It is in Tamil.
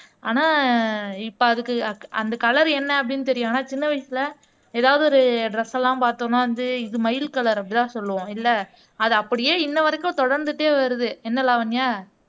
ஆனால் இப்ப அதுக்கு அக் அந்த கலர் என்ன அப்படின்னு தெரியும் ஆனால் சின்ன வயசுல ஏதாவது ஒரு ட்ரெஸ் எல்லாம் பார்த்தோம்னா வந்து இது மயில் கலர் அப்படித்தான் சொல்லுவோம் இல்லை அதை அப்படியே இன்ன வரைக்கும் தொடர்ந்துட்டே வருது என்ன லாவண்யா